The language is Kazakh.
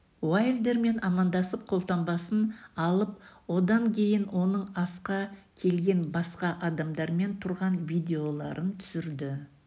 уайлдермен амандасып қолтаңбасын алып одан кейін оның асқа келген басқа адамдармен тұрған видеоларын түсірді